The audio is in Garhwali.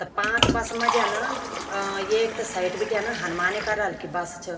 त पांच बस मा जन अ एक त साइट बिटिंयन हन्माने कलर की बस छ।